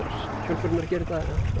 hjólbörurnar gera þetta